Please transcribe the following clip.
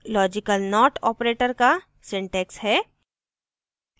logical not operator का syntax है